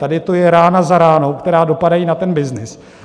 Tady to je rána za ranou, které dopadají na ten byznys.